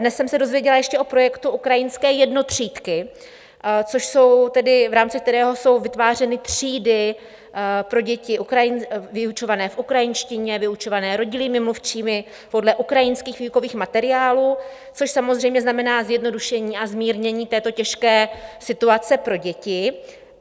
Dnes jsem se dozvěděla ještě o projektu Ukrajinské jednotřídky, v rámci kterého jsou vytvářeny třídy pro děti vyučované v ukrajinštině, vyučované rodilými mluvčími podle ukrajinských výukových materiálů, což samozřejmě znamená zjednodušení a zmírnění této těžké situace pro děti.